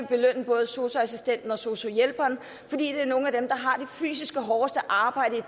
belønne både sosu assistenten og sosu hjælperen fordi det er nogle af dem der har det fysisk hårdeste arbejde i